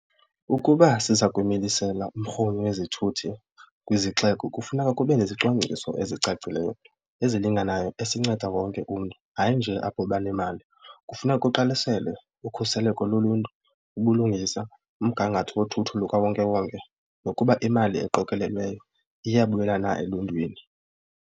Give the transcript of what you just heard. Ukuba siza milisela umrhumi wezithuthi kwizixeko kufuneka kube nezicwangciso ezicacileyo ezilinganayo esinceda wonke umntu hayi nje apho banemali. Kufuneka kuqwalaselwe ukhuseleko loluntu, ubulungisa, umgangatho wothutho lukawonkewonke nokuba imali eqokelelwayo iyabuyela na eluntwini.